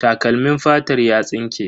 Takalmin fatar ya tsinke.